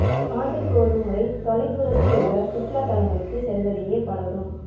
ஆண்டுக்கு ஒரு முறை தொலை தூரத்தில் உள்ள சுற்றுலாத் தலங்களுக்கு செல்வதையே பலரும்